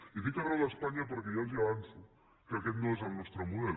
i dic arreu d’espanya perquè ja els avanço que aquest no és el nostre model